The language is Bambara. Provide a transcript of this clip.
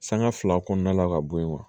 Sanga fila kɔnɔna la ka bɔ yen